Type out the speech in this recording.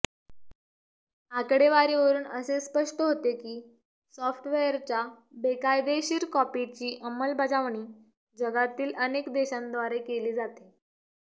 आकडेवारीवरून असे स्पष्ट होते की सॉफ्टवेअरच्या बेकायदेशीर कॉपीची अंमलबजावणी जगातील अनेक देशांद्वारे केली जाते